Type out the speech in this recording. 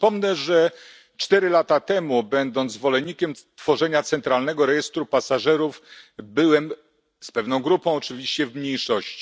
Przypomnę, że cztery lata temu, będąc zwolennikiem tworzenia centralnego rejestru pasażerów, byłem, z pewną grupą oczywiście, w mniejszości.